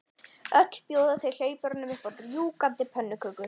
Öll bjóða þau hlaupurum upp á rjúkandi pönnukökur.